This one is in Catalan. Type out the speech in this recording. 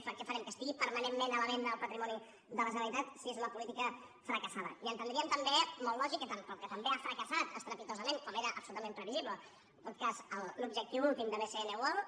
què farem que estigui permanentment a la venda el patrimoni de la generalitat si és una política fracassada i entendríem també molt lògic que també ha fracassat estrepitosament com era absolutament previsible en tot cas l’objectiu últim de bcn world